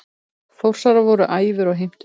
Þórsarar voru æfir og heimtuðu mark.